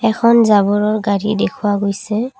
এখন জাবৰৰ গাড়ী দেখুওৱা গৈছে।